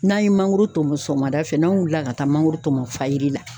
N'an ye mangoro tɔmɔ sɔgɔmada fɛ n'an wulila ka taa mangoro tɔmɔ fajiri la